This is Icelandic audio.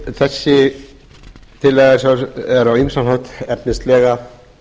þessi tillaga er á ýmsan hátt efnislega